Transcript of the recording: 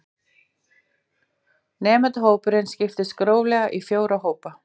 Nemendahópurinn skiptist gróflega í fjóra hópa